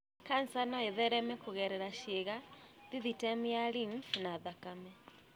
kanca no ĩthereme kũgerera ciĩga, thithitemu ya lymph na thakame.